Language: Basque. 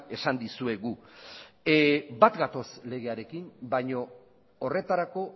esan dizuegu bat gatoz legearekin baino horretarako